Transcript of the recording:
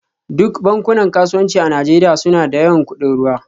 Duk bankunan kasuwanci a Najeriya suna da yawan kudin ruwa